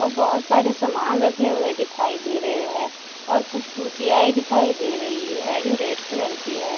औ बहोत सारे समान रखे हुए दिखाई दे रहे हैं और कुछ कुर्सियाए दिखाई दे रही है जो रेड कलर की है।